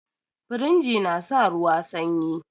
Firiji na sa ruwa sanyi